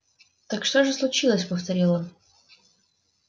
так что же случилось повторил он